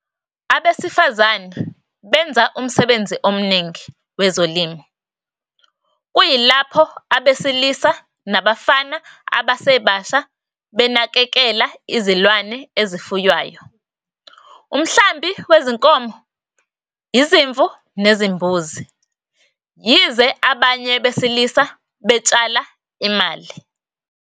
Abesifazane benza umsebenzi omningi wezolimo, kuyilapho abesilisa nabafana abasebasha benakekela izilwane ezifuywayo, umhlambi wezinkomo, izimvu nezimbuzi, yize abanye besilisa betshala imali.